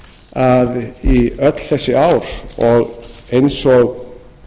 að í öll þessi ár og eins og